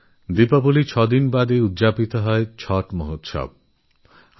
দীপাবলীর ছদিন পরে পালিত মহাপরব ছট